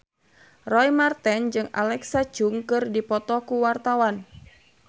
Roy Marten jeung Alexa Chung keur dipoto ku wartawan